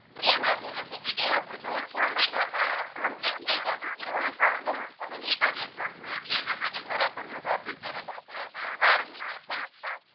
પહેલા છે ને સી પી ટી હતું તો છ મહિનામા કોમ્પલેટ થઈ જતું પણ હવે ફાઉંડેસન મા છે ને રિટર્ન એક્જામ હોય એટલે એના માટે બરાબર વધારે પ્રેપરેસન કરવી પડે એટલે બાર મહિના થાય